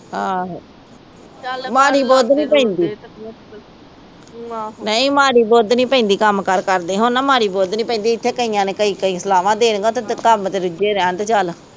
ਆਹੋ ਮਾੜੀ ਬੁੱਧ ਨੀ ਪੈਂਦੀ ਨਹੀ ਮਾੜੀ ਬੁੱਧ ਪੈਂਦੀ ਕੰਮਕਾਰ ਕਰਦੇ ਹੋਣ, ਨਾ ਮਾੜੀ ਬੁੱਧ ਨੀ ਪੈਂਦੀ। ਇਥੇ ਕਈਆਂ ਨੇ ਕਈ-ਕਈ ਸਲਾਵਾ ਦੇਣੀਆਂ, ਤੇ ਓਥੇ ਕੰਮ ਚ ਰੁਜੇ ਰਹਿਣ ਤੇ ਚੱਲ